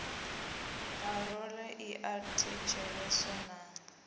parole i a thetsheleswa na